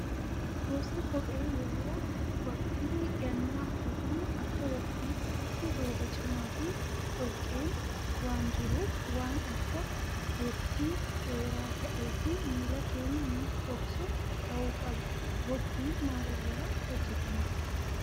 Gosti kophee yeroo waqtii gannaa uffatamu Akka waqtii isaatti rooba cimaa fi dhoqqeen waan jiruuf, waan Akka bottii dheeraa ta'ee fi miila keenya nuuf dhoksu ta'uu qaba. Bottiin maal irraa hojjatama?